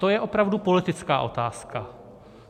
To je opravdu politická otázka.